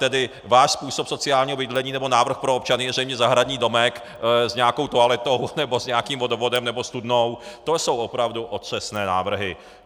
Tedy váš způsob sociálního bydlení nebo návrh pro občany je zřejmě zahradní domek s nějakou toaletou nebo s nějakým vodovodem nebo studnou - to jsou opravdu otřesné návrhy.